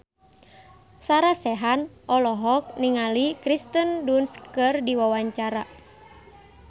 Sarah Sechan olohok ningali Kirsten Dunst keur diwawancara